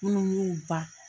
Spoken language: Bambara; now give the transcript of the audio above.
Munnu n'u ba